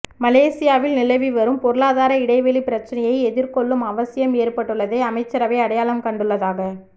மலேசியாவில் நிலவி வரும் பொருளாதார இடைவெளிப் பிரச்சினையை எதிர்கொள்ளும் அவசியம் ஏற்பட்டுள்ளதை அமைச்சரவை அடையாளம் கண்டுள்ளதாக